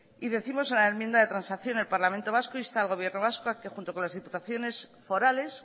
y décimos en la enmienda de transacción el parlamento vasco insta al gobierno vasco a que junto con las diputaciones forales